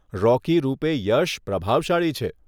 રોકી રૂપે યશ પ્રભાવશાળી છે.